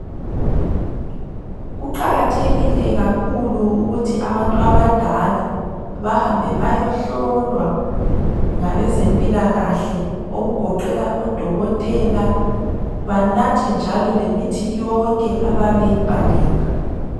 Kuqakathekile kakhulu ukuthi abantu abadala bahambe bayohlolwa ngabezempilakahle okugoqela odokotela. Banathe njalo lemithi yonke abayabe beyibhalelwe.